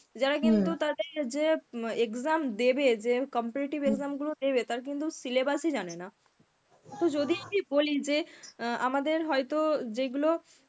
যারা কিন্তু তাদের যে exam দেবে যে competitive exam গুলো দেবে তার কিন্তু syllabus ই জানে না. তো যদি আমি বলি যে অ্যাঁ আমাদের হয়তো যেইগুলো